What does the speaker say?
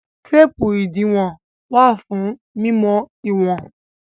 Téépù ìdiwọn wà fún mímọ ìwọ̀n.